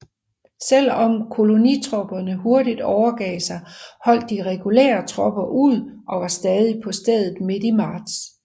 Selv om kolonitropperne hurtigt overgav sig holdt de regulære tropper ud og var stadig på stedet midt i marts